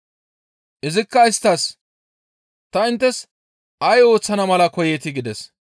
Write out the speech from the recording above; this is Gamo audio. Izikka isttas, «Ta inttes ay ooththana mala koyeetii?» gides.